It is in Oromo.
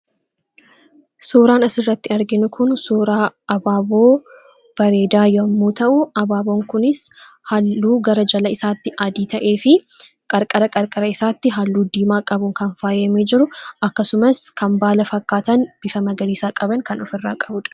Suuraan asirratti arginu kun suuraa Abaaboo bareedaa yommuu ta'u, abaaboon kunis halluu gara jalaa isaatti adii ta'ee fi qarqara qarqara isaatti halluu diimaa qabuun kan faayamee jiru akkasumas kan baala fakkaatan bifa magariisaa qabaniin kan faayamee jiruudha.